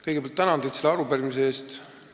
Kõigepealt tänan teid selle arupärimise eest!